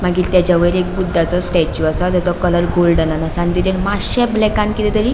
मागिर तेचा वयर एक बुद्धंचो स्टेचू आसा त्यसो कलर गोल्डनान आसा आणि तेचेर मात्शे ब्लैकत किते तरी --